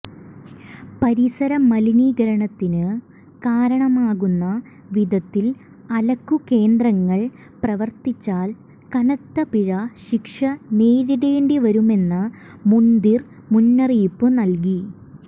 പരിസര മലിനീകരണത്തിനു കാരണമാകുന്ന വിധത്തിൽ അലക്കുകേന്ദ്രങ്ങൾ പ്രവർത്തിച്ചാൽ കനത്തപിഴ ശിക്ഷ നേരിടേണ്ടിവരുമെന്ന് മുൻദിർ മുന്നറിയിപ്പു നൽകി